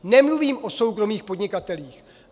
Nemluvím o soukromých podnikatelích.